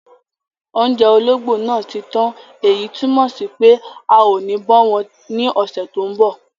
Oúnjẹ ológbò náà ti tán èyí tún mọ̀ sí pé a ò ní bọ́ wọn ní ọ̀sẹ̀ tó mbọ̀